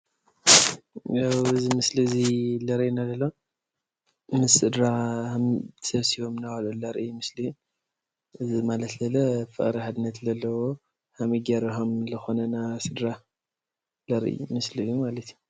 ያው ዚ ምስሊ እዙይ ዘርእየና ዘሎ ምስ ስድራ ተሰብሲቦም እናበልዑ ዘርኢ ምስሊ እዪ ማለት እዩ።